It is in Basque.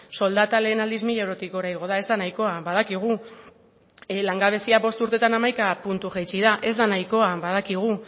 soldata lehen aldiz mila eurotik gora igo da ez da nahikoa badakigu langabezia bost urteetan hamaika puntu jaitsi da ez da nahikoa badakigu